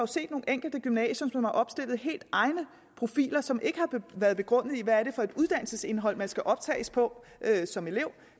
set nogle enkelte gymnasier som har opstillet helt egne profiler som ikke har været begrundet i hvad det er for et uddannelsesindhold man skal optages på som elev